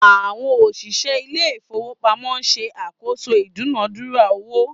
Àwọn òṣìṣẹ́ ilé ìfowópamọ́ ń ṣe àkóso ìdúnàádúrà owó